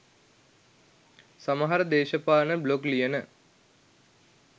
සමහර දේශපාලන බ්ලොග් ලියන